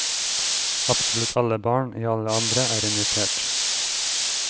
Absolutt alle barn, i alle aldre, er invitert.